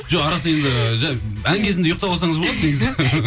жоқ арасында енді ән кезінде ұйықтап алсаңыз болады негізі